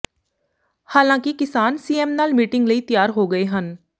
ਹਾਲਾਂਕਿ ਕਿਸਾਨ ਸੀਐਮ ਨਾਲ ਮੀਟਿੰਗ ਲਈ ਤਿਆਰ ਹੋ ਗਏ ਹਨ